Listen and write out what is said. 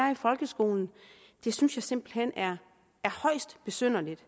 i folkeskolen synes jeg simpelt hen er højst besynderligt